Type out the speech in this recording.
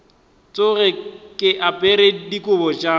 tsoge ke apere dikobo tša